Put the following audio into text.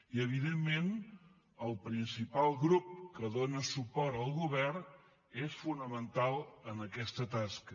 i evidentment el principal grup que dóna suport al govern és fonamental en aquesta tasca